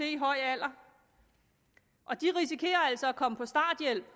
i en høj alder og de risikerer altså at komme på starthjælp